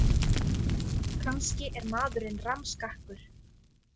Kannski er maðurinn rammskakkur.